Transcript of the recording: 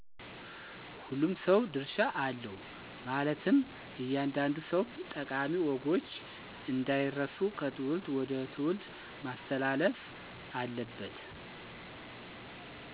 ሁሉም ሰው ድርሻ አለው ማለትም እያንዳንዱ ሰው ጠቃሚ ወጎች አንዳይረሱ ከትውልድ ወደ ትውልድ ማስተላለፍ አለበት።